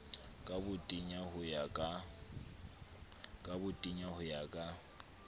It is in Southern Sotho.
ka botenya ho ya ka